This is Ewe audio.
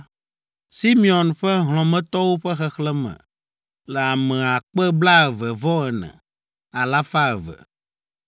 Simeon ƒe hlɔ̃metɔwo ƒe xexlẽme le ame akpe blaeve-vɔ-eve, alafa eve (22,200).